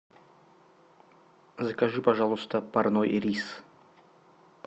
закажи пожалуйста парной рис